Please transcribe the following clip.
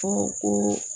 Fɔ ko